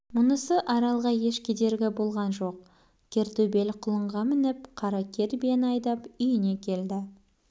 мұнысы аралға еш кедергі болған жоқ кер төбел құлынға мініп қара кер биені айдап үйіне келді